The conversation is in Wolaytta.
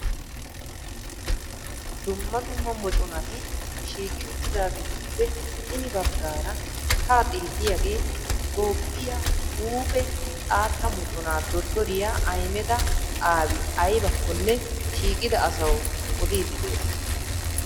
Dumma dumma moconati shiiqi uttidaageetuppe hini baaggaara ha xeelliyaagee Toophphiyaa huuphe xaatta moconaa dottoriyaa Ahimeda Aabi Ayibaakonne shiiqida asawu odiiddi de'ees.